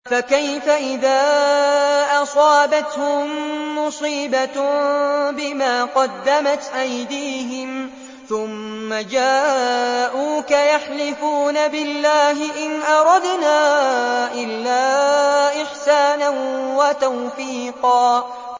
فَكَيْفَ إِذَا أَصَابَتْهُم مُّصِيبَةٌ بِمَا قَدَّمَتْ أَيْدِيهِمْ ثُمَّ جَاءُوكَ يَحْلِفُونَ بِاللَّهِ إِنْ أَرَدْنَا إِلَّا إِحْسَانًا وَتَوْفِيقًا